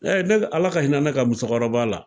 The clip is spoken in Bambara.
ne Ala ka hinɛ ne ka musokɔrɔba la..